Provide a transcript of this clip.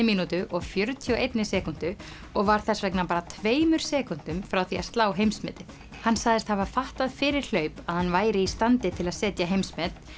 mínútu og fjörutíu og einni sekúndu og var þess vegna bara tveimur sekúndum frá því að slá heimsmetið hann sagðist hafa fattað fyrir hlaup að hann væri í standi til að setja heimsmet